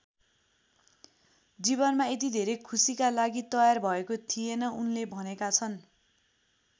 जीवनमा यति धेरै खुसीका लागि तयारी भएको थिएन उनले भनेका छन्।